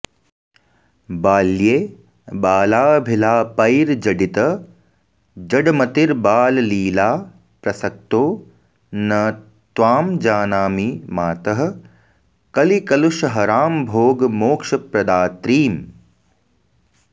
बाल्ये बालाभिलापैर्जडितजडमतिर्बाललीला प्रसक्तो न त्वां जानामि मातः कलिकलुषहराम्भोगमोक्षप्रदात्रीम्